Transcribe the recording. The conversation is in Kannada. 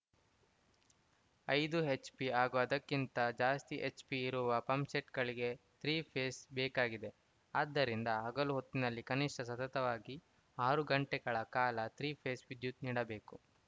ಐದು ಎಚ್‌ಪಿ ಹಾಗೂ ಅದಕ್ಕಿಂತ ಜಾಸ್ತಿ ಎಚ್‌ಪಿ ಇರುವ ಪಂಪ್‌ಸೆಟ್‌ಗಳಿಗೆ ತ್ರಿ ಪೇಸ್‌ ಬೇಕಾಗಿದೆ ಆದ್ದರಿಂದ ಹಗಲು ಹೊತ್ತಿನಲ್ಲಿ ಕನಿಷ್ಠ ಸತತವಾಗಿ ಆರು ಗಂಟೆಗಳ ಕಾಲ ತ್ರಿ ಪೇಸ್‌ ವಿದ್ಯುತ್‌ ನೀಡಬೇಕು